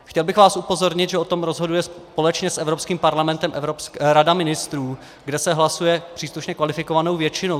Chtěl bych vás upozornit, že o tom rozhoduje společně s Evropským parlamentem Rada ministrů, kde se hlasuje příslušně kvalifikovanou většinou.